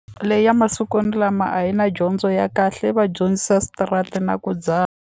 Leyi ya masikwani lama a yi na dyondzo ya kahle yi va dyondzisa na ku dzaha.